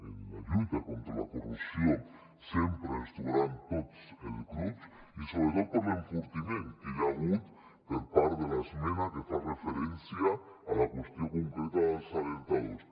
en la lluita contra la corrupció sempre ens hi trobaran tots els grups i sobretot per l’enfortiment que hi ha hagut per part de l’esmena que fa referència a la qüestió concreta dels alertadors